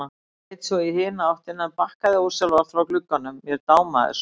Leit svo í hina áttina en bakkaði ósjálfrátt frá glugganum, mér dámaði svo.